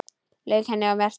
Lauk henni og merkti.